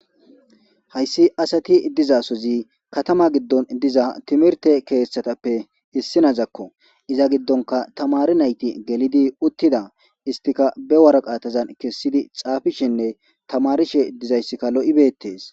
Hayssi asati dizasozi katama giddon diza timirte keeththatappe issinazakko iza giddonka tamari nayti gelidi uttida istika be waraqaatazan kessidi xaafishinne tamarishe dizayssikka lo7ibeettees.